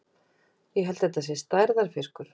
Ég held þetta sé stærðarfiskur!